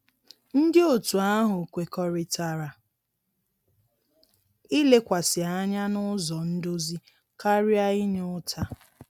Ndị otu ahụ kwekọrịtara ilekwasị anya n'ụzọ ndozi karịa inye ụta.